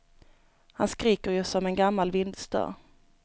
Han skriker ju som en gammal vindsdörr.